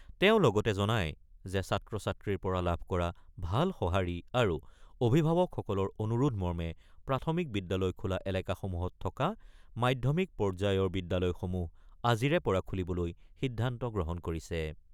তেওঁ লগতে জনায় যে ছাত্ৰ-ছাত্ৰীৰ পৰা লাভ কৰা ভাল সঁহাৰি আৰু অভিভাৱকসকলৰ অনুৰোধ মৰ্মে প্ৰাথমিক বিদ্যালয় খোলা এলেকাসমূহত থকা মাধ্যমিক পৰ্যায়ৰ বিদ্যালয়সমূহ আজিৰে পৰা খুলিবলৈ সিদ্ধান্ত গ্ৰহণ কৰিছে।